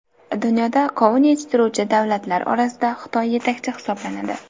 Dunyoda qovun yetishtiruvchi davlatlar orasida Xitoy yetakchi hisoblanadi.